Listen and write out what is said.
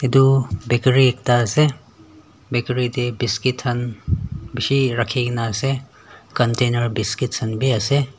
edu bakery ekta ase bakery tae biscuit khan bishi rakhikae na ase container biscuit khan biase.